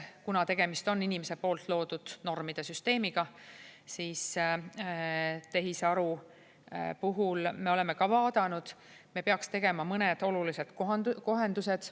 Kuna tegemist on inimese poolt loodud normide süsteemiga, siis tehisaru puhul me oleme ka vaadanud, et me peaks tegema mõned olulised kohendused.